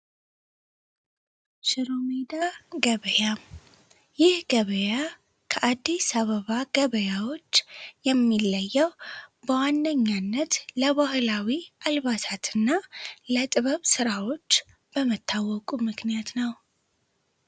ሽሮሜዳ ገበያ ይህ ገበያ ከአዲስ አበባ ገበያዎች የሚለየው በዋነኛነት ለባህላዊ አልባሳት እና ለጥበብ ሥራዎች በመታወቁ ምክንያት ነው።